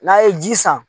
N'a ye ji san